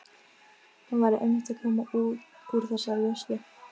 Hann væri einmitt að koma úr þeirri veislu.